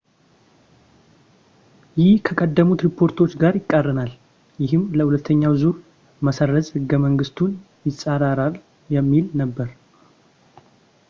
ይህ ከቀደሙት ሪፖርቶች ጋር ይቃረናል ፣ ይህም ለሁለተኛ ዙር መሰረዝ ሕገ-መንግስቱን ይፃረራል የሚል ነበር